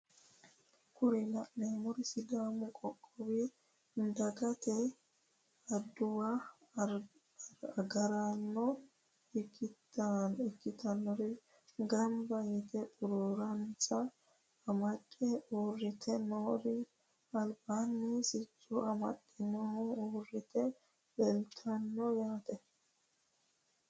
kuri la'neemmori sidaamu qoqqoowi dagate adawu agaraano ikkitinnori gamba yite xuruuransa amadde uurite noori albaani sicco amadinori uurite leeltanno yaate